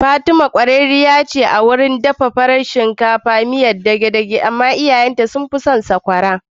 Fatima kwararriya ce a wurin dafa farin shinkafa da miyar dege-dege amma iyayen ta sun fi son cin sokwara